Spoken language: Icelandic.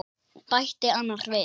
bætti annar við.